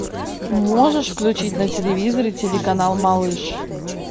можешь включить на телевизоре телеканал малыш